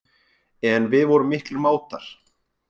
En við vorum miklir mátar.